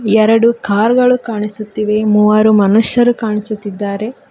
ಎರಡು ಕಾರ್ ಗಳು ಕಾಣಿಸುತ್ತಿವೆ ಮೂವರು ಮನುಷ್ಯರು ಕಾಣಿಸುತ್ತಿದ್ದಾರೆ.